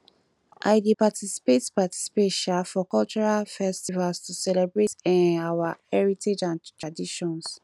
i dey participate participate um for cultural festivals to celebrate um our heritage and traditions